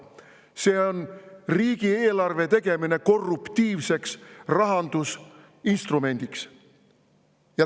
See on riigieelarve tegemine korruptiivseks rahandusinstrumendiks.